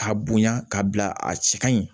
K'a bonya ka bila a cɛ ka ɲi